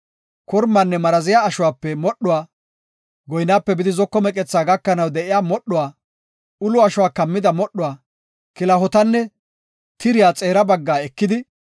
Kormanne maraziya ashuwape modhuwa, goynaape bidi zoko meqethaa gakanaw de7iya modhuwa, ulo ashuwa kammida modhuwa, kilahotanne tiriya xeera baggaa ekidi,